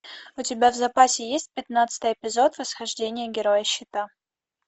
у тебя в запасе есть пятнадцатый эпизод восхождение героя щита